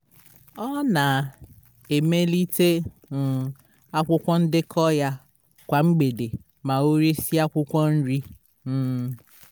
ọ na-emelite um akwụkwọ ndekọ ya kwa mgbede ma o resịa akwụkwọ nri. um